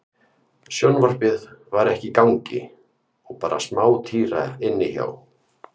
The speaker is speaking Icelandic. Sjónvarpið var ekki í gangi og bara smátíra inni hjá